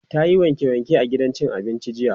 tayi wanke wanke a gidan cin abincin jiya.